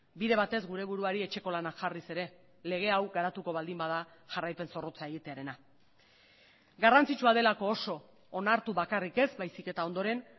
bide batez gure buruari etxeko lanak jarriz ere lege hau garatuko baldin bada jarraipen zorrotza egitearena garrantzitsua delako oso onartu bakarrik ez baizik eta ondoren